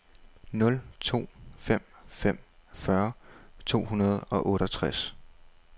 nul to fem fem fyrre to hundrede og otteogtres